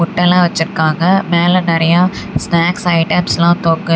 முட்டைலாம் வச்சுருக்காங்க மேல நறையா ஸ்நேக்ஸ் ஐட்டம்ஸ்லா தொங்குது.